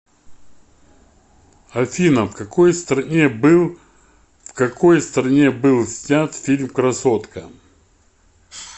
афина в какой стране был в какой стране был снят фильм красотка